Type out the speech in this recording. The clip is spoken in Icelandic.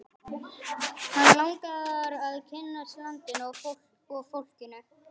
Hann langar að kynnast landinu og fólkinu.